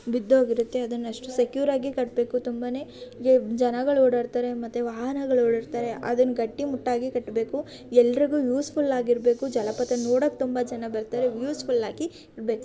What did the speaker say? ಬಿದ್ದೋಗಿರುತ್ತೆ ಅದನ್ನ ಅಷ್ಟೊಂದು ಸೆಕ್ಯೂರ್ ಆಗಿ ಕಟ್ಬೇಕು. ತುಂಬಾನೇ ಜನಗಳು ಓಡಾಡುತ್ತಾರೆ ಮತ್ತೆ ವಾಹನಗಳು ಓಡಾಡ್ತವೆ ಅದನ್ನ ಗಟ್ಟಿಮುಟ್ಟಾಗಿ ಕಟ್ಟಬೇಕು. ಎಲ್ಲರಿಗೂ ಯೂಸ್ ಫುಲ್ ಆಗಿರಬೇಕು. ಜಲಪಾತ ನೋಡಕ್ಕೆ ತುಂಬಾ ಜನ ಬರ್ತಾರೆ ಯೂಸ್ಫುಲ್ ಆಗಿರಬೇಕು.